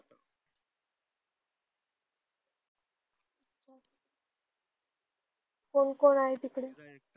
कोण कोण आहे तिकडे?